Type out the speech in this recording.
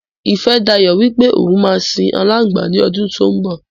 Ifẹ́dayọ̀ wípé òun má sìn alangba ní ọdún tó ń bò.